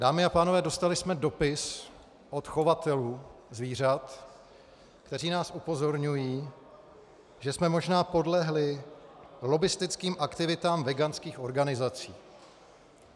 Dámy a pánové, dostali jsme dopis od chovatelů zvířat, kteří nás upozorňují, že jsme možná podlehli lobbistickým aktivitám veganských organizací.